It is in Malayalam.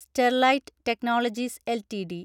Sterlite technologies LTD